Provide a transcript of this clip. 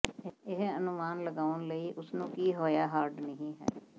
ਇਹ ਅਨੁਮਾਨ ਲਗਾਉਣ ਲਈ ਉਸ ਨੂੰ ਕੀ ਹੋਇਆ ਹਾਰਡ ਨਹੀ ਹੈ